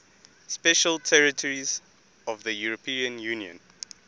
special territories of the european union